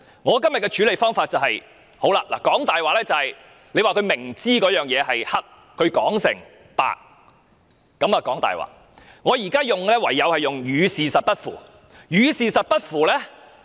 我今天的處理方法是，既然她明知而仍把黑說成是白，亦即說謊，我只好以"與事實不符"一語作出形容。